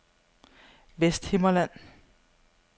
Vesthimmerland